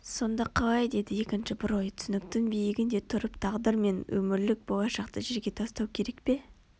сонда қалай деді екінші бір ой түсініктің биігінде тұрып тағдыр мен өмірлік болашақты жерге тастау керек пе